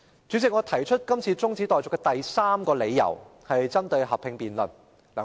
主席，我今次提出中止待續議案的第三個理由針對合併辯論。